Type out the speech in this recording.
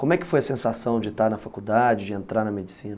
Como é que foi a sensação de estar na faculdade, de entrar na medicina?